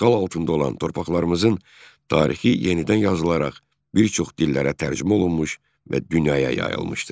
İşğal altında olan torpaqlarımızın tarixi yenidən yazılaraq bir çox dillərə tərcümə olunmuş və dünyaya yayılmışdır.